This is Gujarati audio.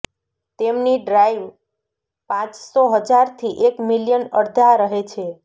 તેમની ડ્રાઇવ પાંચસો હજાર થી એક મિલિયન અડધા રહે છે